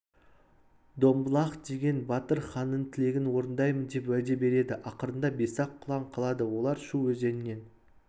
домбылақ деген батыр ханның тілегін орындаймын деп уәде береді ақырында бес-ақ құлан қалады олар шу өзенінен